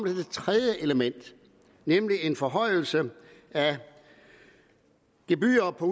det tredje element nemlig en forhøjelse af gebyrer for